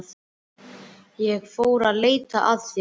Ég fór að leita að þér.